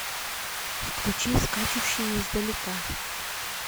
включи скачущие издалека